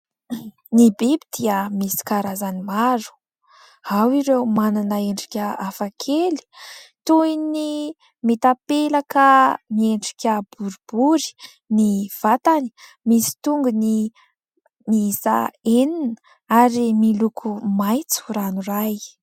Ny biby dia misy karazany maro, ao ireo manana endrika hafakely toy ny mitapelaka miendrika boribory ny vatany, misy tongony miisa enina ary miloko maitso ranoray.